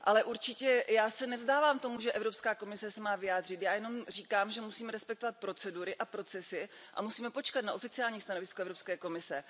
Ale určitě já se nevzdávám tomu, že Evropská komise se má vyjádřit, já jenom říkám, že musíme respektovat procedury a procesy a musíme počkat na oficiální stanovisko Evropské komise.